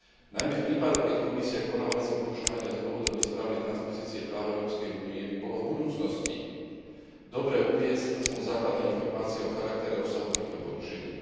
Najmä v prípadoch, keď Komisia koná vo veci porušovania z dôvodov nesprávnej transpozície práva Európskej únie by bolo v budúcnosti dobré uviesť aspoň základné informácie o charaktere a rozsahu týchto porušení.